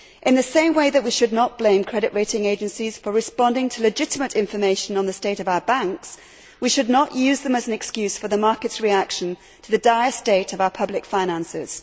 In the same way that we should not blame credit rating agencies for responding to legitimate information on the state of our banks, we should not use them as an excuse for the market's reaction to the dire state of our public finances.